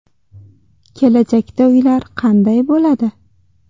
Kelajakda uylar qanday bo‘ladi?.